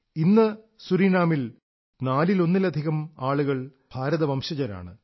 ഇന്ന് സുറീനാമിൽ നാലിലൊന്നിലധികം ആളുകൾ ഭാരത വംശജരാണ്